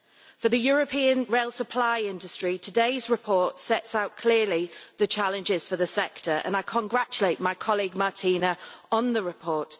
For the European rail supply industry, today's report sets out clearly the challenges for the sector, and I congratulate my colleague, Martina, on the report.